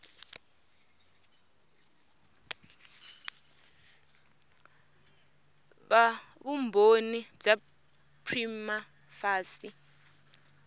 va vumbhoni bya prima facie